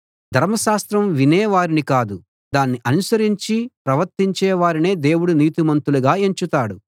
ధర్మశాస్త్రం వినే వారిని కాదు దాన్ని అనుసరించి ప్రవర్తించే వారినే దేవుడు నీతిమంతులుగా ఎంచుతాడు